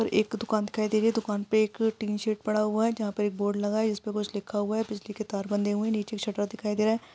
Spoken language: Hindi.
एक दुकान दिखाई दे रही हे दुकान पे एक पड़ा हुआ हे जहाँपर एक बोर्ड इसपे कुछ लिखा हुआ हे बिजली के तार बंधे हुए निचे शटर दिखाई दे रहा--